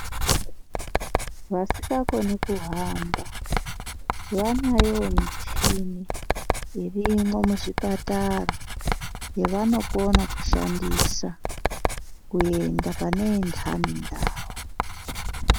Vasikakoniwo kuhamba vanayowo muchini irimwo muzvipatara yevanokona kushandisa kuenda pane inhani ndau.